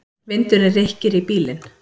Vindurinn rykkir í bílinn.